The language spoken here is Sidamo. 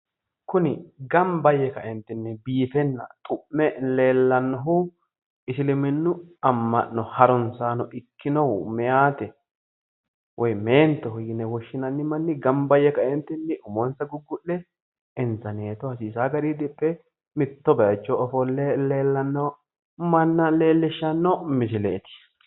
Kuni gamba yee biiffenna xu'me leellanohu isiliminu ama'no meenti umo diphe biiffe nooha leellishano misileti